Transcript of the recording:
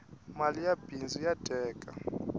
mali ya bindzu ya dyeka